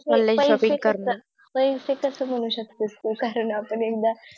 पैसे कस म्हणू शकते तू कारण आपण एकदा